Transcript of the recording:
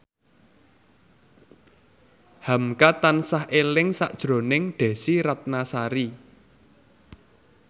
hamka tansah eling sakjroning Desy Ratnasari